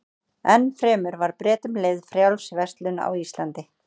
Enn fremur var Bretum leyfð frjáls verslun á Íslandi.